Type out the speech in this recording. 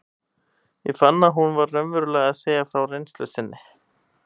Ég fann að hún var raunverulega að segja frá reynslu sinni.